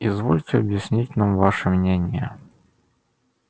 извольте объяснить нам ваше мнение